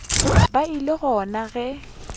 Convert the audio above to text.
be e le gona ge